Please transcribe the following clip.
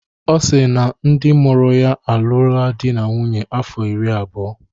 Ọ si na ndị mụrụ ya alụọla di na nwunye afọ iri abụọ.